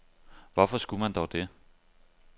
Hvorfor skulle man dog det?